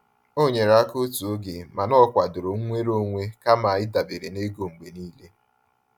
O nyere aka otu oge mana o kwadoro nnwere onwe kama ịdabere na ego mgbe niile.